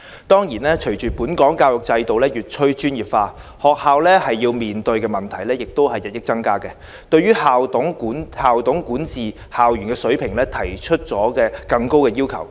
當然，隨着本港教育制度越趨專業化，學校要面對的問題亦日益增加，對校董管治校園的水平提出更高的要求。